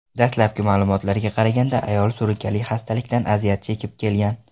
Dastlabki ma’lumotlarga qaraganda, ayol surunkali xastalikdan aziyat chekib kelgan.